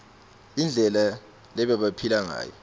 indlela lebabephila ngayo